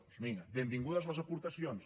doncs vinga benvingudes les aportacions